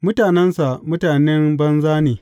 Mutanensa mutanen banza ne!